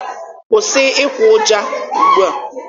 Kwụsị ịkwa ụja ugbua!